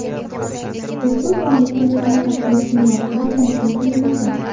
Ushbu taomni kechki ovqatga iste’mol qilish tavsiya qilinadi.